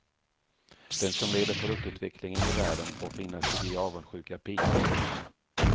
Den som leder produktutvecklingen i världen får finna sig i avundsjuka pikar.